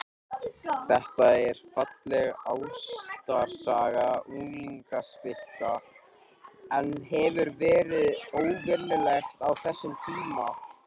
Una Sighvatsdóttir: Þetta er falleg ástarsaga unglingspilta, en hefur verið óvenjulegt á þessum tíma?